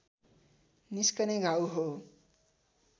निस्कने घाउ हो